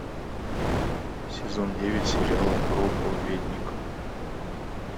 сезон девять сериала проповедник